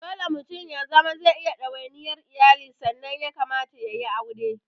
Dole mutum ya zama zai iya ɗawaniyar iyali sannan ya kamata yayi aure